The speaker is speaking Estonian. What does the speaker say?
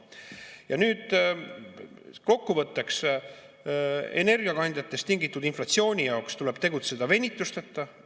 Ja nüüd kokkuvõtteks: energiakandjatest tingitud inflatsiooni tuleb tegutseda venituseta.